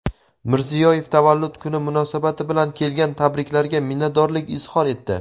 Mirziyoyev tavallud kuni munosabati bilan kelgan tabriklarga minnatdorlik izhor etdi.